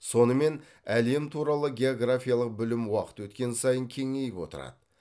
сонымен әлем туралы географиялық білім уақыт өткен сайын кеңейіп отырады